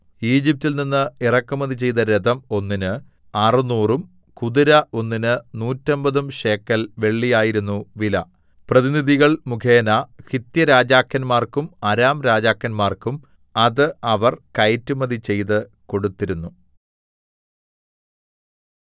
ഈജിപ്റ്റിൽ നിന്ന് ഇറക്കുമതി ചെയ്ത രഥം ഒന്നിന് അറുനൂറും കുതിര ഒന്നിന് നൂറ്റമ്പതും ശേക്കൽ വെള്ളിയായിരുന്നു വില പ്രതിനിധികൾ മുഖേന ഹിത്യരാജാക്കന്മാർക്കും അരാംരാജാക്കന്മാർക്കും അത് അവർ കയറ്റുമതി ചെയ്ത് കൊടുത്തിരുന്നു